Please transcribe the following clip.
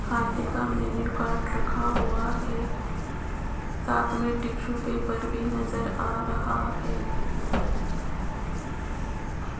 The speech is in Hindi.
खाने का मेन्यू कार्ड रखा हुआ हैं साथ मैं टिश्यू पेपर भी नजर आ रहा हैं।